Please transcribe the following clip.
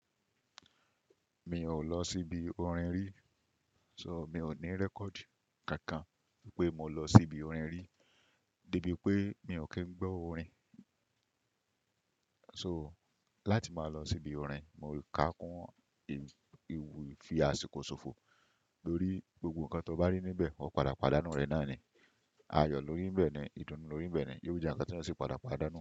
Mi ò lọ síbi orin rí, so mi ò ní record kankan pé mo lọ síbi orin rí, débi pé mi ò kí ń gbọ́ orin. So láti máa lọ síbi orin, mo ká kún ewu ìfi àṣìkò ṣòfò lórí gbogbo nǹkan tó bá ní níbẹ̀, wọ́n padà pàdánù rẹ̀ náà ni. Ayọ̀ lórí ń bẹ ni, ìdùnnú lórí ń bẹ ni, yóò jẹ́ ǹkan tí wọ́n sì padà pàdánù rẹ̀